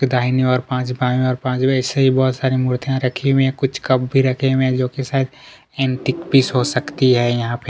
दाहिनी ओर पांच बायी ओर पांच ऐसी ही बहुत सारी मूर्तियां रखी हुई है कुछ कप भी रखे हुए है जो एंटीकपीस हो सकती है यहाँ पे--